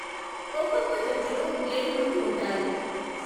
ఒక్కొక్క జట్టులో ఏడు మంది ఉంటారు.